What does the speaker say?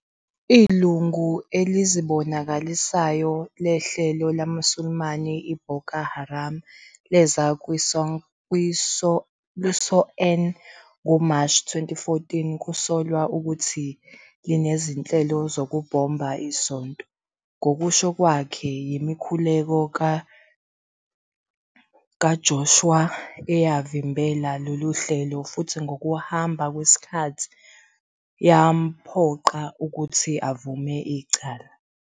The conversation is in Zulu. Ilungu elizibonakalisayo lehlelo lamaSulumane iBoko Haram leza kwi-SCOAN ngoMashi 2014, kusolwa ukuthi linezinhlelo 'zokubhomba' isonto. Ngokusho kwakhe, yimikhuleko kaJoshua eyavimbela lolu hlelo futhi ngokuhamba kwesikhathi yamphoqa ukuthi avume icala.